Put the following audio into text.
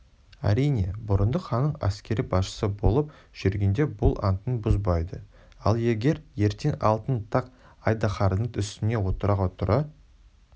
әрине бұрындық ханның әскери басшысы болып жүргенде бұл антын бұзбайды ал егер ертең алтын тақ-айдаһардың үстіне отыруға тура